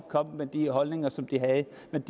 hvert